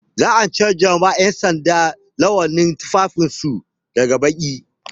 Za a canja ma 'yansanda launin tufafin su daga baƙi.